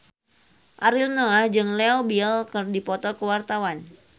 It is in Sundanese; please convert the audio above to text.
Ariel Noah jeung Leo Bill keur dipoto ku wartawan